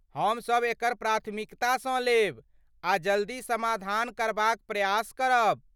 हमसभ एकरा प्राथमिकतासँ लेब आ जल्दी समाधान करबाक प्रयास करब।